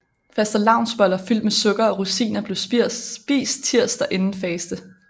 Fastelavnsboller fyldt med sukker og rosiner blev spist tirsdag inden faste